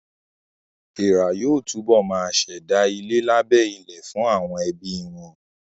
Èèrà yóò túbọ̀ ma ṣẹ̀dá ilé lábẹ́ ilẹ̀ fún àwọn ẹbí wọn